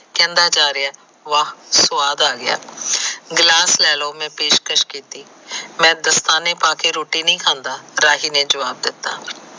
ਕਹਿੰਦਾ ਜਾ ਰਿਹਾ ਵਾਹ ਸਵਾਦ ਆ ਗਿਆ ਗਿਲਾਸ ਲੈ ਲੋ ਮੈ ਪੇਸ਼ ਕਸ਼ ਕੀਤੀ ਮੈ ਪਾਕੇ ਰੋਟੀ ਨੀ ਖਾਂਦਾ ਰਾਹੀ ਨੇ ਜਵਾਵ ਦਿੱਤਾ